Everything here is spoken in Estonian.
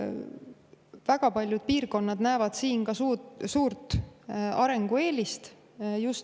Väga paljud piirkonnad näevad selles suurt arengueelist.